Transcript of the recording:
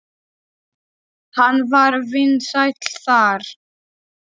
Hann var vinsæll þar.